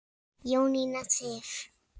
Jónína Sif.